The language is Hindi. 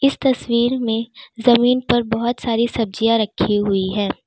इस तस्वीर में जमीन पर बहुत सारी सब्जियां रखी हुई है।